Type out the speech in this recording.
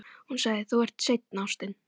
Hún sagði: Þú ert seinn, ástin.